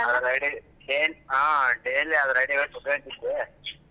ಆ daily ಅದ್ರಾಡಿ ಕುಂತ್ಕೊಂತಿದ್ದೆ.